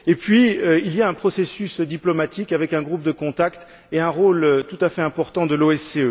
Puis il y a un processus diplomatique avec un groupe de contact et un rôle tout à fait important de l'OSCE.